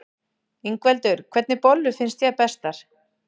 Ingveldur: Hvernig bollur finnst þér bestar?